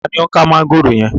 Taàní ó ń ká mọ̀ngòrò yẹn?